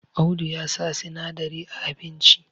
Audu ya sa sinadari a abinci